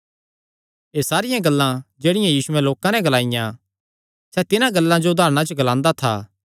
एह़ सारियां गल्लां जेह्ड़ियां यीशुयैं लोकां नैं ग्लाईयां सैह़ तिन्हां गल्लां जो उदारणा च ग्लांदा था